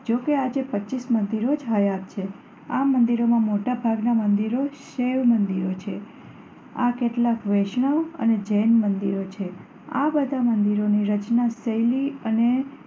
જો કે આજે પચીસ મંદિરો જ હયાત છે. આ મંદિરોમાં મોટા ભાગનાં મંદિરો શિવ મંદિરો છે. તો કેટલાંક વૈષ્ણવ અને જૈન મંદિરો છે. આ બધા મંદિરોની રચનાશૈલી અને